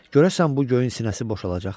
Görəsən bu göyün sinəsi boşalacaqmı?